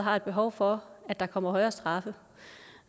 har et behov for at der kommer højere straffe